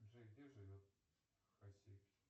джой где живет хасси